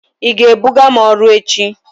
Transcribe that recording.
Ị ga-ebuga m ọrụ echi?